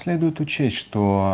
следует учесть что